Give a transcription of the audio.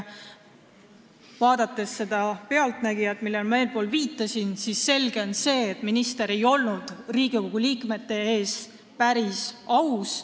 Vaadates seda "Pealtnägija" saadet, millele ma eespool viitasin, on selge see, et minister ei olnud Riigikogu liikmete ees päris aus.